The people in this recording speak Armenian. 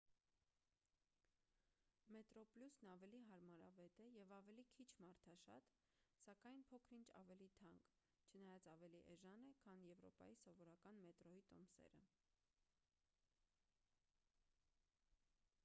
մետրոպլյուսն ավելի հարմարավետ է և ավելի քիչ մարդաշատ սակայն փոքր-ինչ ավելի թանկ չնայած ավելի էժան է քան եվրոպայի սովորական մետրոյի տոմսերը